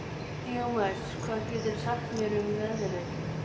Díómedes, hvað geturðu sagt mér um veðrið?